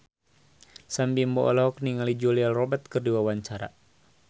Sam Bimbo olohok ningali Julia Robert keur diwawancara